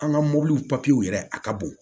An ka mobiliw papiyew yɛrɛ a ka bon